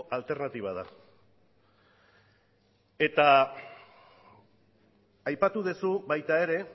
alternatiba da eta aipatu duzu baita ere